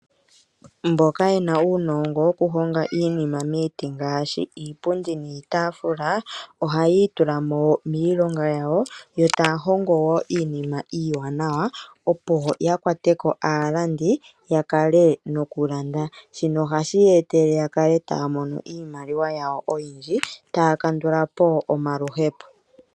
Mboka yena uunongo woku honga iinima miiti ngaashi iipundi niitaafula ohayi itula mo miilonga yawo, yo taya hongo wo iinima iiwaanawa, opo ya kwate ko aalandi ya kale noku landa. Shino ohashi ya etele ya kale taya mono iimaliwa yawo oyindji, taya kandula po omaluhepo.